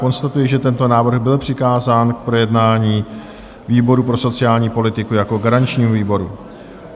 Konstatuji, že tento návrh byl přikázán k projednání výboru pro sociální politiku jako garančnímu výboru.